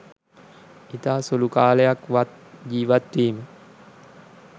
ඉතා සුළු කාලයක් වත් ජීවත් වීම